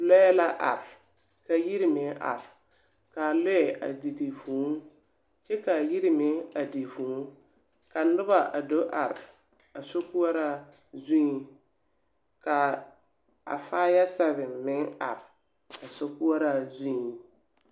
Lͻԑ la are ka yiri meŋ are, kaa lͻԑ a di di vũũ kyԑ kaa yiri meŋ a di vũũ. Ka noba a do are a sokoͻraa zuŋ, kaa a faya sԑviŋ meŋ are a so koͻraa zuŋ.